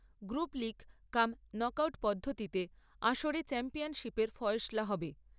Group league cum knockout পদ্ধতিতে আসরে চ্যাম্পিয়নশীপের ফয়সলা হবে।